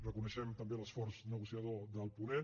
reconeixem també l’esforç negociador del ponent